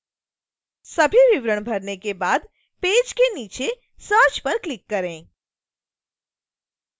सभी विवरण भरने के बाद पेज के नीचे search पर क्लिक करें